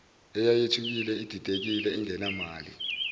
eyayithukile ididekile ingenamali